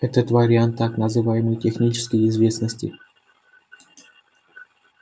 это вариант так называемой технической известности